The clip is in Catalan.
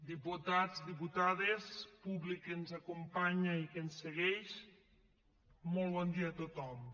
diputats diputades públic que ens acompanya i que ens segueix molt bon dia a tothom